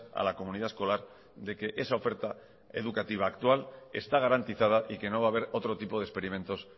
a la comunidad escolar de que esa oferta educativa actual está garantizada y que no va a haber otro tipo de experimentos